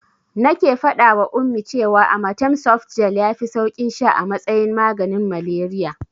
Nake faɗawa Ummi cewa amatem softgel yafi saukin sha a matsayin maganin malaria.